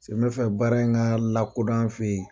n bɛ fɛ baara in ka lakodɔn an fɛ ye.